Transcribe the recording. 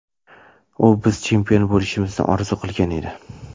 U biz chempion bo‘lishimizni orzu qilgan edi.